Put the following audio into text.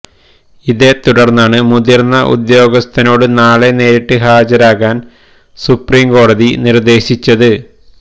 ഇതേ തുടര്ന്നാണ് മുതിര്ന്ന ഉദ്യോഗസ്ഥനോട് നാളെ നേരിട്ട് ഹാജരാകാന് സുപ്രീം കോടതി നിര്ദേശിച്ചത്